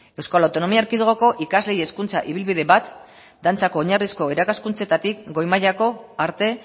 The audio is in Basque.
euskal autonomia erkidegoko ikasleei hezkuntza ibilbide bat dantzak oinarrizko irakaskuntzetatik goi mailako arte